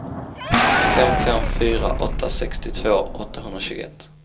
fem fem fyra åtta sextiotvå åttahundratjugoett